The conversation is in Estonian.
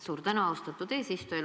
Suur tänu, austatud eesistuja!